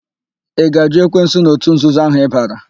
Ị ga-àjụ́ ekwensu na òtù nzuzo ahụ ịbara?